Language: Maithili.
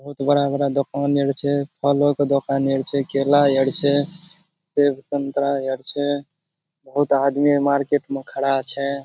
बहुत बड़ा-बड़ा दुकान एर छे। फलो के दुकान एर छे केला एर छे सेब संतरा एर छे। बहुत आदमी है मार्किट में खड़ा छे।